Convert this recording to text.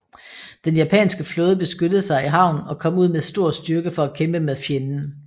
Den japanske flåde beskyttede sig i havn og kom ud med stor styrke for at kæmpe med fjenden